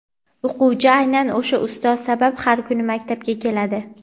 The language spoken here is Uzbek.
O‘quvchi aynan o‘sha ustoz sabab har kuni maktabga keladi.